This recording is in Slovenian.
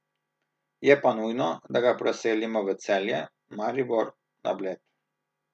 Je pa nujno, da ga preselimo v Celje, Maribor, na Bled...